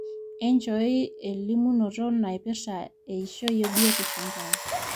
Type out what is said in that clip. nchooi elimunoto naipirta eishoi obiotishu enkerai